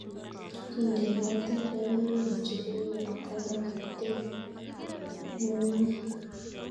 Kindeni katoltoliwek njuguk kotko makitiem ng'un'nyek